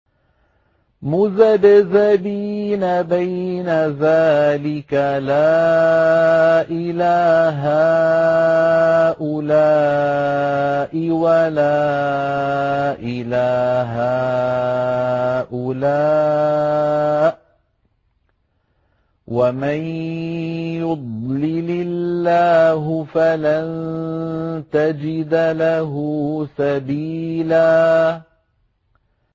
مُّذَبْذَبِينَ بَيْنَ ذَٰلِكَ لَا إِلَىٰ هَٰؤُلَاءِ وَلَا إِلَىٰ هَٰؤُلَاءِ ۚ وَمَن يُضْلِلِ اللَّهُ فَلَن تَجِدَ لَهُ سَبِيلًا